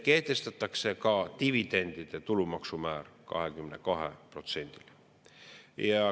Kehtestatakse ka dividendide tulumaksu määr 22%‑ni.